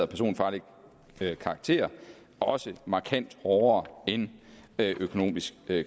personfarlig karakter markant hårdere end økonomisk